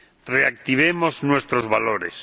Reactivemos nuestros valores.